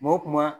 Kuma o kuma